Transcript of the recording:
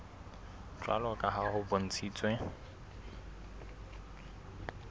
jwalo ka ha ho bontshitswe